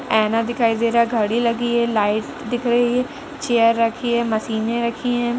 ऐना दिखाई दे रहा है। घड़ी लगी है। लाइट दिख रही है। चेयर रखी है। मशीनें रखी हैं।